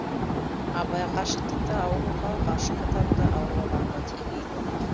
абай ғашықтықты ауруға ғашық адамды ауру адамға теңейді